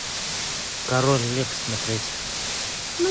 король лев смотреть